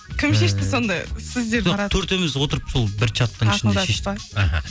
кім шешті сонда сіздер төртеуіміз отырып сол бір чаттың іхі